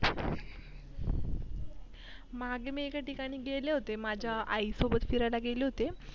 मागे मी एका ठिकाणी गेले होते माझ्या आई सोबत गेले होते.